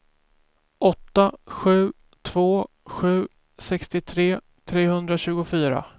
åtta sju två sju sextiotre trehundratjugofyra